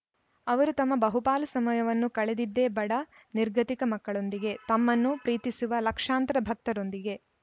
ಅವರು ತಮ್ಮ ಬಹುಪಾಲು ಸಮಯವನ್ನು ಕಳೆದಿದ್ದೇ ಬಡ ನಿರ್ಗತಿಕ ಮಕ್ಕಳೊಂದಿಗೆ ತಮ್ಮನ್ನು ಪ್ರೀತಿಸುವ ಲಕ್ಷಾಂತರ ಭಕ್ತರೊಂದಿಗೆ